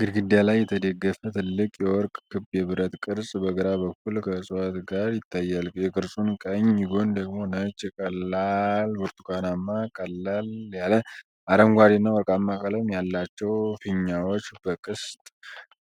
ግድግዳ ላይ የተደገፈ ትልቅ የወርቅ ክብ የብረት ቅርጽ በግራ በኩል ከዕፅዋት ጋር ይታያል። የቅርጹን ቀኝ ጎን ደግሞ ነጭ፣ ቀላል ብርቱካናማ፣ ቀለል ያለ አረንጓዴና ወርቃማ ቀለም ያላቸው ፊኛዎች በቅስት